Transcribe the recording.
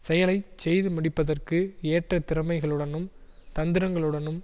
செயலை செய்து முடிப்பதற்கு ஏற்ற திறமைகளுடனும் தந்திரங்களுடனும்